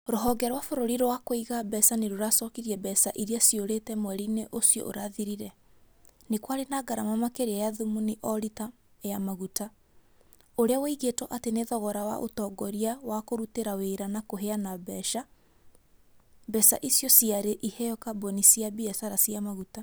Rũhonge rwa bũrũri rwa kuiga mbeca ni rũracokirie mbeca iria ciũrĩte mweri-inĩ ũcio ũrathirire. Nĩ kwarĩ na ngarama makĩria ya thumuni o rita rĩa maguta. ũrĩa woigĩtwo atĩ nĩ thogora wa ũtongoria wa kũrutĩra wĩra na kũheana mbeca. Mbeca icio ciarĩ iheo kambuni cia biacara cia maguta.